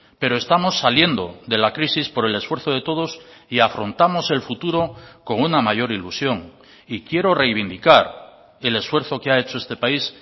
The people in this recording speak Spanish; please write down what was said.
pero estamos saliendo de la crisis por el esfuerzo de todos y afrontamos el futuro con una mayor ilusión y quiero reivindicar el esfuerzo que ha hecho este país